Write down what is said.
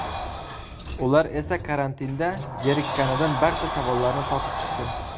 Ular esa karantinda zerikkanidan barcha savollarni topib chiqdi.